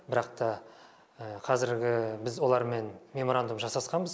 бірақ та қазіргі біз олармен меморандум жасасқанбыз